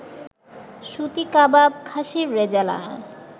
সুতি কাবাব, খাশির রেজালা